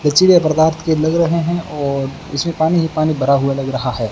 लचीले पदार्थ के लग रहे हैं और इसमें पानी ही पानी भरा हुआ लग रहा है।